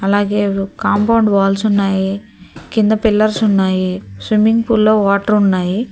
అలాగే compound walls ఉన్నాయి కింద పిల్లర్స్ ఉన్నాయి స్విమ్మింగ్ పూల్ లో వాటర్ ఉన్నాయి.